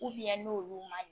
n'olu man ɲi